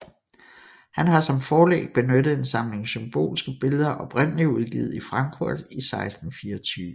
Han har som forlæg benyttet en samling symbolske billeder oprindelig udgivet i Frankfurt i 1624